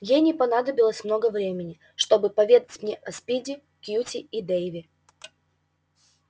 ей не понадобилось много времени чтобы поведать мне о спиди кьюти и дейве